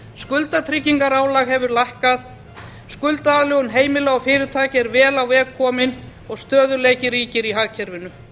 skuldatryggingarálag hefur lækkað skuldaaðlögun heimila og fyrirtækja er vel á veg komin og stöðugleiki ríkir í hagkerfinu